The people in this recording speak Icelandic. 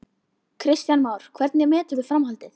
Kristján Már: Hvernig meturðu framhaldið?